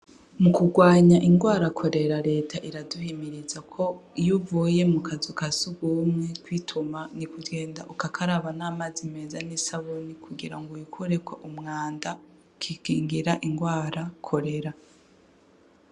Mu kurwanya irwara korera reta iraduhimiriza ko iyo uvuye mukanzu kasugumwe kwituma nukugenda ugakaraba n’amazi meza n'isabuni kugira ngo wikureko umwanda ukikigira irwara korera.